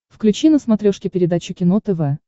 включи на смотрешке передачу кино тв